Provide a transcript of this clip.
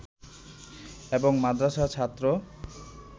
এবং মাদ্রাসার ছাত্র